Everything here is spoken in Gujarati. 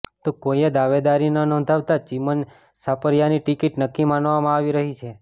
તો કોઈએ દાવેદારી ન નોંધાવતા ચિમન સાપરિયાની ટિકિટ નક્કી માનવામાં આવી રહી છે